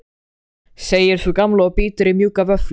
segir sú gamla og bítur í mjúka vöfflu.